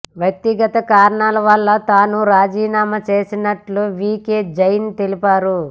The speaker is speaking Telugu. వ్యక్తిగత కారణాల వల్లే తాను రాజీనామా చేస్తున్నట్లు వీకే జైన్ తెలిపారు